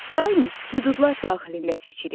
Daim hüdudlar daxilində seçirik.